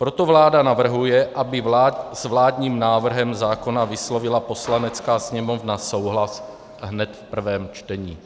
Proto vláda navrhuje, aby s vládním návrhem zákona vyslovila Poslanecká sněmovna souhlas hned v prvém čtení.